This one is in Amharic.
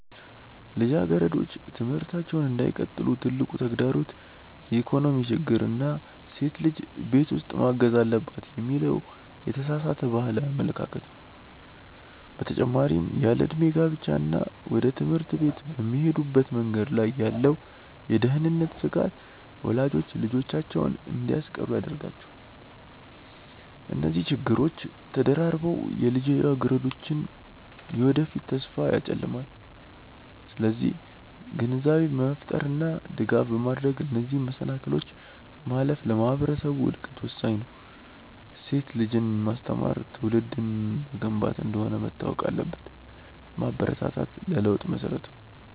ልጃገረዶች ትምህርታቸውን እንዳይቀጥሉ ትልቁ ተግዳሮት የኢኮኖሚ ችግር እና ሴት ልጅ ቤት ውስጥ ማገዝ አለባት የሚለው የተሳሳተ ባህላዊ አመለካከት ነው። በተጨማሪም ያለዕድሜ ጋብቻ እና ወደ ትምህርት ቤት በሚሄዱበት መንገድ ላይ ያለው የደህንነት ስጋት ወላጆች ልጆቻቸውን እንዲያስቀሩ ያደርጋቸዋል። እነዚህ ችግሮች ተደራርበው የልጃገረዶችን የወደፊት ተስፋ ያጨልማሉ። ስለዚህ ግንዛቤ በመፍጠር እና ድጋፍ በማድረግ እነዚህን መሰናክሎች ማለፍ ለማህበረሰቡ እድገት ወሳኝ ነው። ሴት ልጅን ማስተማር ትውልድን መገንባት እንደሆነ መታወቅ አለበት። ማበረታታት ለለውጥ መሰረት ነው።